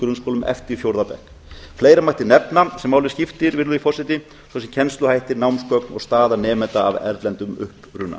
grunnskólum eftir fjórða bekk fleira mætti nefna sem máli skiptir virðulegi forseti svo sem kennsluhætti námsgögn og stöðu nemenda af erlendum uppruna